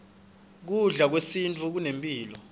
kudla kwesintfu kunemphilo